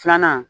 Filanan